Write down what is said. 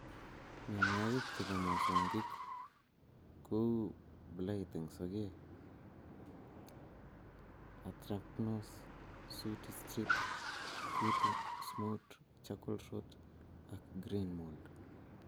Mienwokik chebo mosongik kouu blight eng sokeek, Anthracnose, Sooty stripes ,kutu, Smut, Charcoal rot ak Grain mold